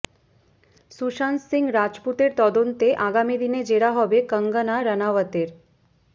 সুশান্ত সিং রাজপুতের তদন্তে আগামী দিনে জেরা হবে কঙ্গনা রনাওয়াতের